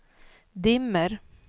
dimmer